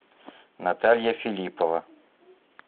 наталья филиппова